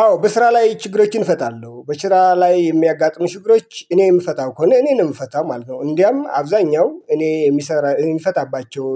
አዎ በስራ ላይ ችግሮችን እፈታለሁ በስራ ላይ የሚያጋጥሙ ችግሮች እኔ የምፈታው ከሆነ እኔንም የምፈታው ማለት ነው እንዲያም አብዛኛው እኔ የሚሰራ የሚፈታባቸው